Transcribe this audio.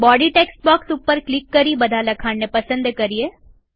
body text box ઉપર click કરી બધા લખાણને પસંદ કરીએ